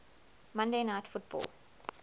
monday night football